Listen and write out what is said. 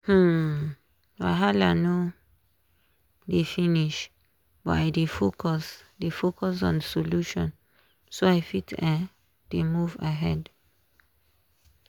um wahala no dey finish but i dey focus dey focus on solution so i fit um dey move ahead.